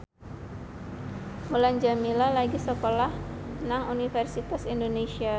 Mulan Jameela lagi sekolah nang Universitas Indonesia